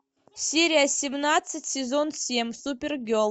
серия семнадцать сезон семь супер герл